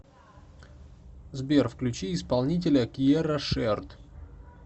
сбер включи исполнителя киерра шерд